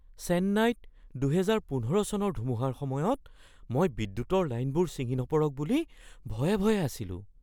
চেন্নাইত ২০১৫ চনৰ ধুমুহাৰ সময়ত মই বিদ্যুতৰ লাইনবোৰ ছিঙি নপৰক বুলি ভয়ে ভয়ে আছিলো।